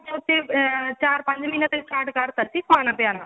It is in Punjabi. ah ਚਾਰ ਪੰਜ ਮਹੀਨੇ ਤੋਂ start ਕਰਤਾ ਸੀ ਖਾਣਾ ਪਿਆਣਾ